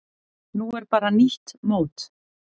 Núna er bara nýtt mót.